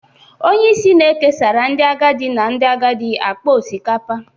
onye isi na-ekesara ndị agadi na ndị agadi akpa osikapa